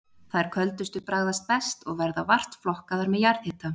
Þær köldustu bragðast best, og verða vart flokkaðar með jarðhita.